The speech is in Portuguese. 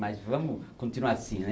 Mas vamos continuar assim, né?